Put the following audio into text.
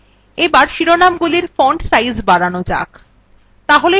এবার শিরোনামগুলির font size বাড়ানো যাক